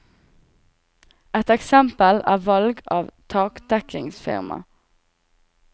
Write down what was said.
Et eksempel er valg av taktekkingsfirma.